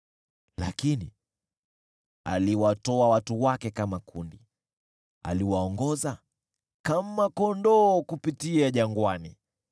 Lakini aliwatoa watu wake kama kundi, akawaongoza kama kondoo kupitia jangwani.